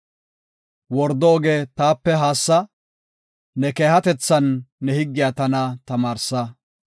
Wordo oge taape haassa; ne keehatethan ne higgiya tana tamaarsa.